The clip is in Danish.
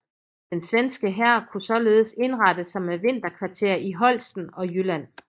Den svenske hær kunne således indrette sig med vinterkvarter i Holsten og Jylland